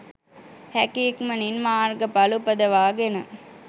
හැකි ඉක්මනින් මාර්ගඵල උපදවා ගෙන